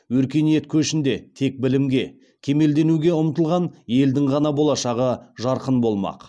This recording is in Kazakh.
өркениет көшінде тек білімге кемелденуге ұмтылған елдің ғана болашағы жарқын болмақ